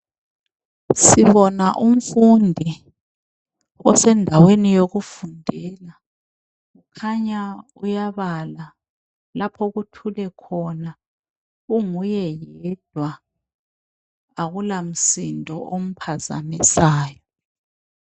Sibona umfundi osendaweni yokufundela khanya uyabala laphokuthule khona, unguye yedwa akula msindo omphazamisayo.